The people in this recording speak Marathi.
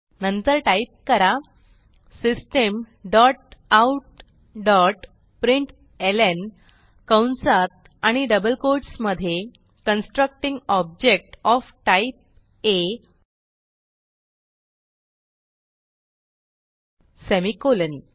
नंतर टाईप करा system dot out dot println कंसात आणि डबल कोट्स मधे कन्स्ट्रक्टिंग ऑब्जेक्ट ओएफ टाइप आ सेमिकोलॉन